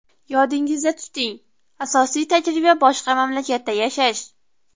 Yodingizda tuting, asosiy tajriba boshqa mamlakatda yashash!